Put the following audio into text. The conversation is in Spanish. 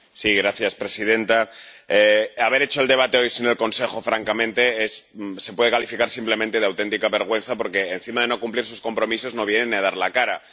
Señora presidenta, haber hecho el debate hoy sin el Consejo francamente se puede calificar simplemente de auténtica vergüenza, porque encima de no cumplir sus compromisos, no viene ni a dar la cara.